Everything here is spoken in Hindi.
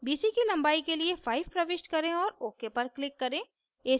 bc की लंबाई के लिए 5 प्रविष्ट करें और ok पर click करें